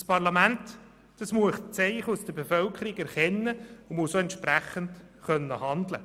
Dieses Parlament muss Zeichen aus der Bevölkerung erkennen und entsprechend handeln können.